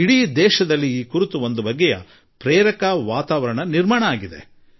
ಇಡೀ ದೇಶದಲ್ಲಿ ಒಂದು ವಾತಾವರಣ ನಿರ್ಮಾಣವಾಗಿದೆ